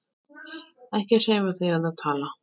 Ekki hreyfa þig eða tala.